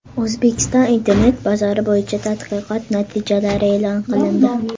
O‘zbekiston internet bozori bo‘yicha tadqiqot natijalari e’lon qilindi.